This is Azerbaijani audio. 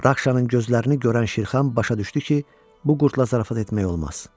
Rakşanın gözlərini görən Şirkhan başa düşdü ki, bu qurdla zarafat etmək olmaz.